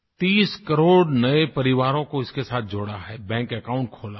30 करोड़ नये परिवारों को इसके साथ जोड़ा है बैंक अकाउंट खोला है